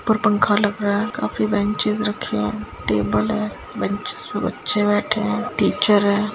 ऊपर पंखा लग रहा है काफी बेंचेस रखे है टेबल हैबेंचेस में बच्चे बैठे है टीचर है।